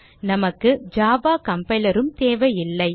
நமக்கு Java compiler உம் தேவையில்லை